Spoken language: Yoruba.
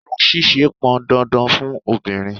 Irun ṣíṣe pọn dandan fun obìnrin.